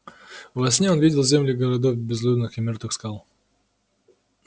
во сне он видел земли городов безлюдных и мёртвых скал